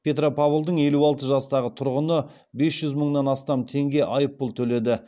петропавлдың елу алты жастағы тұрғыны бес жүз мыңнан астам теңге айыппұл төледі